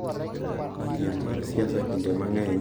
Piem mar siasa kinde mang’eny nenore kokalo kuom dhoudi ,